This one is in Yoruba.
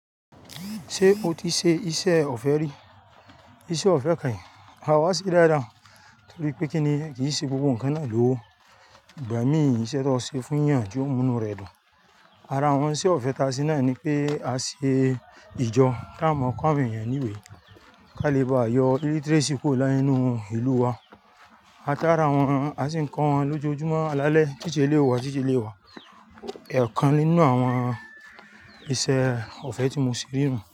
Ṣé o ti ṣe iṣẹ́ ọ̀fẹ́ rí? Iṣẹ́ ọ̀fẹ́ kì í ha wá sí dáadáa, torí pé kí ni kí n ṣe gbogbo nǹkan náà lówó. Ìgbà mí iṣẹ́ tó ṣe fún yàn tí ó mú inú rẹ̀ dùn. Ara wọn iṣẹ́ ọ̀fẹ́ ta ṣe náà ni pé a ṣe ìjọ tí ao máa kọ́ àwọn èèyàn ní ìwé, ká lè baà yọ illiteracy kúrò nínú ìlú wa. A tá ara wọn, a sì ń kọ́ wọn lójoojúmọ́. Alálẹ̀, teacher elèyí ó wá, teacher elèyí ó wá. Ẹ̀ kan nínú àwọn iṣẹ́ ọ̀fẹ́ tí mo sì rí nu.